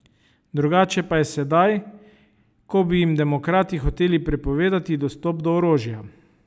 Drugače pa je sedaj, ko bi jim demokrati hoteli prepovedati dostop do orožja.